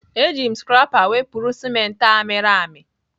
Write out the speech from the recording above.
Eji m scrapper wepụrụ ciment a mịrị amị.